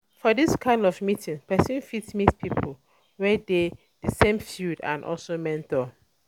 For this kind of meeting person fit meet pipo um wey dey um di same field and also mentor